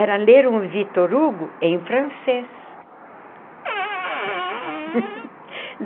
Era ler um Victor Hugo em francês.